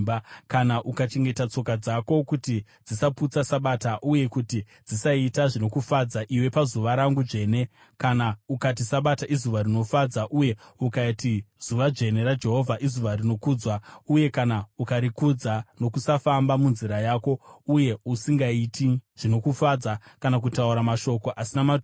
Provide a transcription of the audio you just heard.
“Kana ukachengeta tsoka dzako kuti dzisaputsa Sabata, uye kuti dzisaita zvinokufadza iwe pazuva rangu dzvene, kana ukati Sabata izuva rinofadza, uye ukati zuva dzvene raJehovha izuva rinokudzwa, uye kana ukarikudza nokusafamba munzira yako, uye usingaiti zvinokufadza kana kutaura mashoko asina maturo,